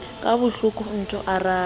ka hloko o nto araba